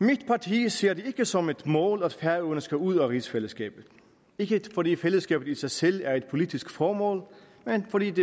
mit parti ser det ikke som et mål at færøerne skal ud af rigsfællesskabet ikke fordi fællesskabet i sig selv er et politisk formål men fordi det